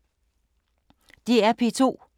DR P2